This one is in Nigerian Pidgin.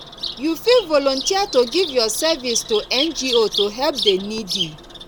you fit volunteer to give your service to ngo to help the needy